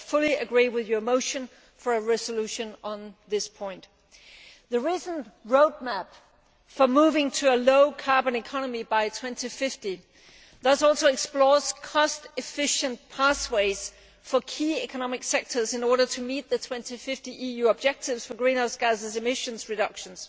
I fully agree with your motion for a resolution on this point. The recent roadmap for moving to a low carbon economy by 2050 explores cost efficient pathways for key economic sectors in order to meet the 2050 EU objectives for greenhouse gas emissions reduction.